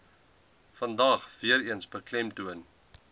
vandag weereens beklemtoon